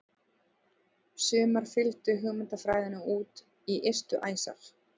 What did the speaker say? Sumar fylgdu hugmyndafræðinni út í ystu æsar.